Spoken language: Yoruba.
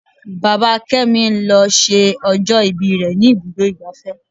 Bàbá kémi lọ ṣe ọjọ́ ìbí rẹ ní ibùdó igbàfẹ́.